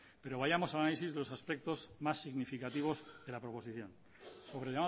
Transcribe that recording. pero vayamos al análisis de los aspectos más significativos de la proposición sobre